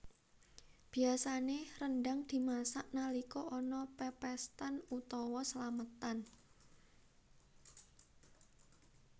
Biasané rendhang dimasak nalika ana pepéstan utawa slametan